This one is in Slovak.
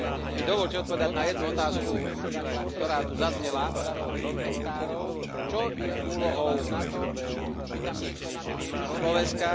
mi dovoľte odpovedať na jednu otázku, ktorá tu zaznela Čo je úlohou Slovenska?